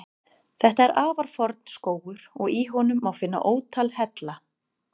Þetta er afar forn skógur og í honum má finna ótal hella.